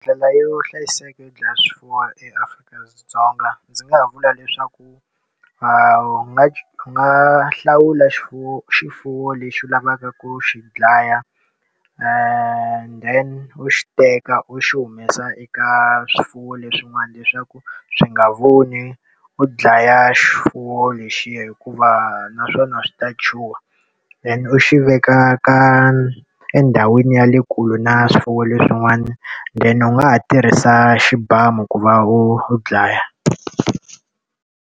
Ndlela yo hlayiseka yo dlaya swifuwo eAfrika-Dzonga ndzi nga vula leswaku u nga u nga hlawula xifuwo xifuwo lexi u lavaka ku xi dlaya and then u xi teka u xi humesa eka swifuwo leswin'wana leswaku swi nga voni u dlaya xifuwo lexiya hikuva na swona swi ta chuha. Then u xi veka ka endhawini ya le kule na swifuwo leswin'wana, then u nga ha tirhisa xibamu ku va u u dlaya.